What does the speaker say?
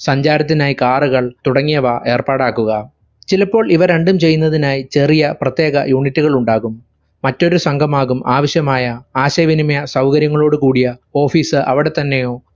സഞ്ചാരത്തിനായി car കൾ തുടങ്ങിയവ ഏർപ്പാടാക്കുക. ചിലപ്പോൾ ഇവരണ്ടും ചെയ്യുന്നതിനായി ചെറിയ പ്രത്യേക unit കൾ ഉണ്ടാകും. മറ്റൊരു സംഘമാകും ആവശ്യമായ ആശയ വിനിമയ സൗകര്യങ്ങളോടു കൂടിയ office അവിടെത്തന്നെയോ